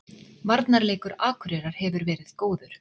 Varnarleikur Akureyrar hefur verið góður